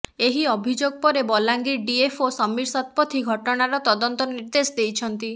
ଏହି ଅଭିଯୋଗ ପରେ ବଲାଙ୍ଗୀର ଡିଏଫ୍ଓ ସମୀର ଶତପଥୀ ଘଟଣାର ତଦନ୍ତ ନିର୍ଦେଶ ଦେଇଛନ୍ତି